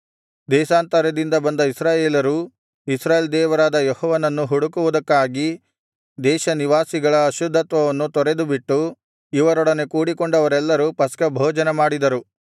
ದೇಶಾಂತರದಿಂದ ಬಂದ ಇಸ್ರಾಯೇಲರೂ ಇಸ್ರಾಯೇಲ್ ದೇವರಾದ ಯೆಹೋವನನ್ನು ಹುಡುಕುವುದಕ್ಕಾಗಿ ದೇಶನಿವಾಸಿಗಳ ಅಶುದ್ಧತ್ವವನ್ನು ತೊರೆದುಬಿಟ್ಟು ಇವರೊಡನೆ ಕೂಡಿಕೊಂಡವರೆಲ್ಲರೂ ಪಸ್ಕಭೋಜನಮಾಡಿದರು